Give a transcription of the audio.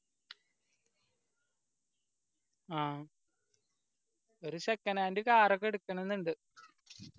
ആ ഒരു second hand car ക്കെ എടുക്കണന്ന് ഇണ്ട്